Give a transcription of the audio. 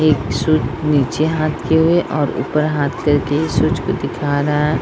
एक शूज नीचे हाथ किये हुए और ऊपर हाथ करके शूज को दिखा रहा है।